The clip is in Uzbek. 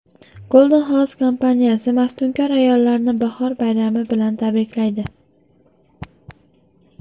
Golden House kompaniyasi maftunkor ayollarni bahor bayrami bilan tabriklaydi!